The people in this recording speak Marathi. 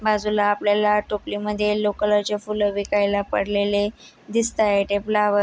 बाजूला आपल्याला टोपली मधे येल्लो कलर चे फूल विकायल पडलेले दिसता आहे टेबला वर--